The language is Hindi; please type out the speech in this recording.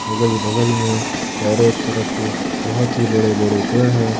अगल बगल में चारों तरफ बहुत ही बड़े बड़े पेड़ है।